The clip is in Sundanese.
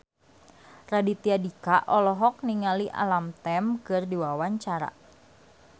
Raditya Dika olohok ningali Alam Tam keur diwawancara